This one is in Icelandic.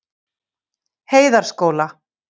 Heiðaskóla